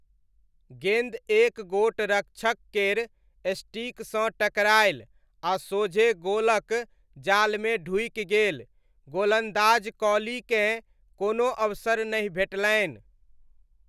गेन्द एक गोट रक्षक केर स्टिकसँ टकरायल आ सोझे गोलक जालमे ढूकि गेल, गोलन्दाज कॉलीकेँ कोनो अवसर नहि भेटलनि।